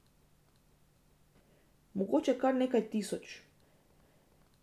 Mogoče kar nekaj tisoč.